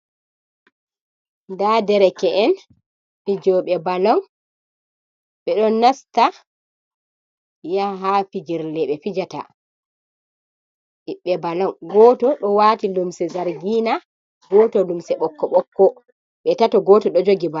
Nda derke en fijoɓe balon. Ɓeɗo nasta yaha ha filjirle ɓe fi jata . Ɓiɓɓe balon goto ɗo wati lumse zargina goto lumse ɓokko-ɓokko. Ɓe tato goto ɗo jugi ba,,